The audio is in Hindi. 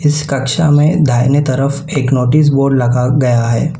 इस कक्षा में दाहिने तरफ एक नोटिस बोर्ड लगा गया है।